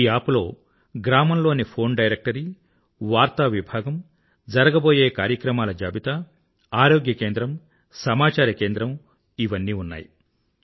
ఈ యాప్ లో గ్రామం లోని ఫోన్ డైరెక్టరీ వార్తా విభాగం జరగబోయే కార్యక్రమాల జాబితా ఆరోగ్య కేంద్రం సమాచార కేంద్రం ఉన్నాయి